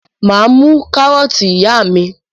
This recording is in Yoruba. Mà á mú kárọ́tì ìyá mi.